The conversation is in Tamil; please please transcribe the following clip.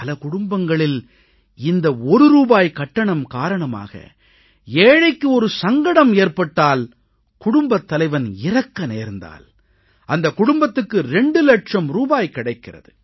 பல குடும்பங்களில் இந்த ஒரு ரூபாய் கட்டணம் காரணமாக ஏழைக்கு ஒரு சங்கடம் ஏற்பட்டால் குடும்பத் தலைவன் இறக்க நேர்ந்தால் அந்தக் குடும்பத்துக்கு 2 இலட்சம் ரூபாய் கிடைக்கிறது